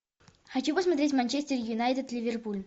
хочу посмотреть манчестер юнайтед ливерпуль